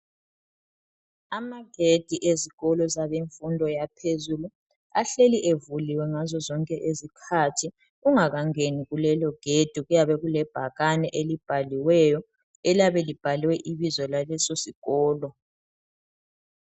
Amagedi ezikolo zabemfundo yaphezulu ahleli evuliwe ngazozonke izikhathi, ungakangeni kulelo gedi kilebhakani elibhaliweyo eliyabe libhalwe Ibizo laleso sikolo.